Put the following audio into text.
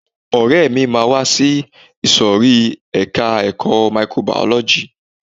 Ọ̀rẹ́ mi máa wá sí ìsòrí ẹka ẹ̀kọ́ microbiology.